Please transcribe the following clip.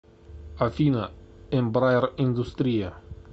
афина эмбраер индустрия